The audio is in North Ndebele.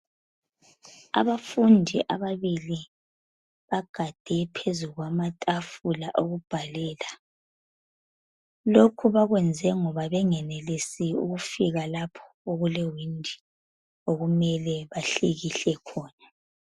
Abafundi ababili bagade phezu kwamatafula okubhalela. Lokhu bakwenze ngoba bengenelisi ukufika lapho okule windi okumele bahlikihle khona .